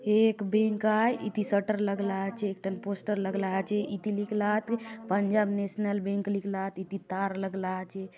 एक बैंक आय इति शटर लगला आचे एक ठन पोस्टर लगला आचे इति लिखला आत पंजाब नैशनल बैंक लिखला आत इति तार लगला आचे।